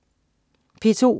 P2: